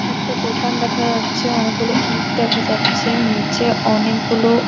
একটা দোকান দেখা যাচ্ছে অনেকগুলো ইঁট দেখা যাচ্ছে নিচে অনেকগুলো--